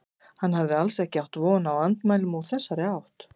Hann hafði alls ekki átt von á andmælum úr þessari átt.